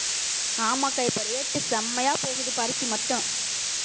ஆமாக்கா இப்ப rate உ செமையா போகுது பருத்தி மட்டும்